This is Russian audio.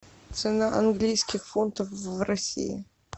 цена английских фунтов в россии